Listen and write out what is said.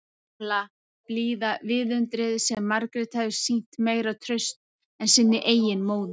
Gamla, blíða viðundrið sem Margrét hafði sýnt meira traust en sinni eigin móður.